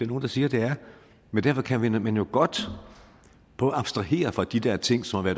nogle der siger at det er men derfor kan man jo godt prøve at abstrahere fra de der ting som har